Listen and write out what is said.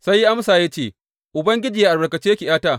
Sai ya amsa ya ce, Ubangiji yă albarkace ki ’yata.